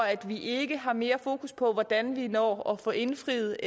at vi ikke har mere fokus på hvordan vi når at få indfriet